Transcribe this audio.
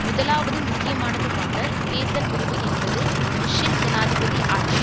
முதலாவதும் முக்கியமானதுமாக தேர்தல் முடிவு என்பது புஷ்ஷின் ஜனாதிபதி ஆட்சி